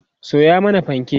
Sayo mani fanke!